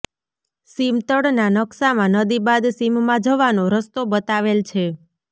સીમતળના નકશામાં નદી બાદ સીમમાં જવાનો રસ્તો બતાવેલ છે